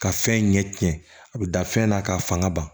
Ka fɛn ɲɛ tiɲɛ a bɛ da fɛn na ka fanga ban